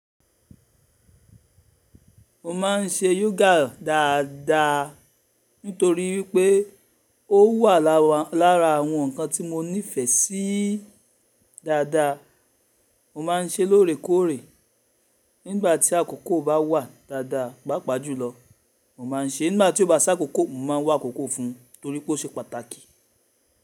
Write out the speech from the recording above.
Mo ma n ṣe yoga dáadáa nítorí wípé ó wà lára àwọn ǹkan tí mo nífẹ̀ẹ́ sí dáadáa. Mo maa n ṣe lóore kóòre nígbà tí àkókò bá wà dáadáa, pàápàá jùlọ mo ma n ṣe nígbà tí ó bá si ákókò mo maa wá akókò fún torí pé ó ṣe pàtàkì.